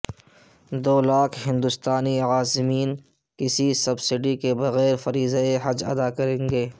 دو لاکھ ہندوستانی عازمین کسی سبسیڈی کے بغیر فریضہ حج ادا کریں گے